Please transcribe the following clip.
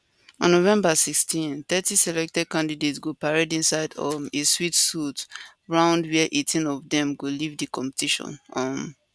on november 16 thirty selected candidates go parade inside um a swimsuit round where 18 of dem go leave di competition um